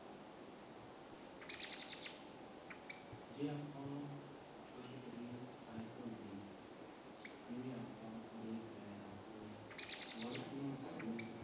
ਜੇ ਆਪਾਂ ਗੱਲ ਕਰੀਏ ਸਾਇਕਲ ਦੀ ਜਿਵੇਂ ਆਪਾਂ ਵੇਖ ਰਹੇ ਹਾਂ ਕਿ ਵਰਤਮਾਨ ਸਮੇਂ ਦੇ